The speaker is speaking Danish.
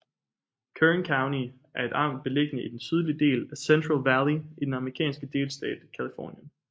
Kern County er et amt beliggende i den sydlige del af Central Valley i den amerikanske delstat Californien